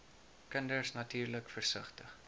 kinders natuurlik versigtig